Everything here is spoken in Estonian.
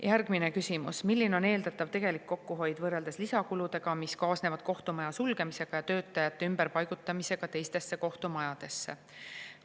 Järgmine küsimus: "Milline on eeldatav tegelik kokkuhoid võrreldes lisakuludega, mis kaasnevad kohtumaja sulgemisega ja töötajate ümberpaigutamisega teistesse kohtumajadesse?